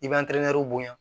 I b'an bonya